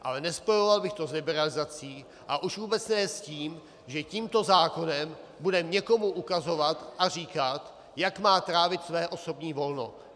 Ale nespojoval bych to s liberalizací a už vůbec ne s tím, že tímto zákonem budeme někomu ukazovat a říkat, jak má trávit své osobní volno.